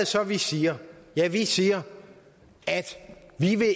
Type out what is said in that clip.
så vi siger ja vi siger at vi